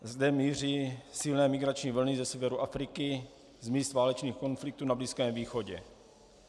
Sem míří silné migrační vlny ze severu Afriky, z míst válečných konfliktů na Blízkém východě.